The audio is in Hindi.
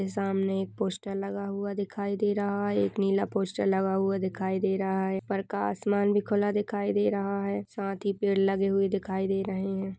सामने एक पोस्टर लगा हुआ दिखाई दे रहा है| एक नीला पोस्टर लगा हुआ दिखाई दे रहा है | प्रकाशमान भी खुला दिखाई दे रहा है साथ ही पेड़ लगे हुए दिखाई दे रहे हैं।